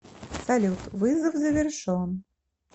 салют вызов завершен